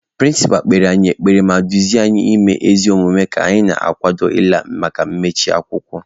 Pịrịnsịpa kpere anyị ekpere ma dụọ anyị ọdụ ime ezi omume ka anyị na-akwado ịla maka mmechi akwụkwọ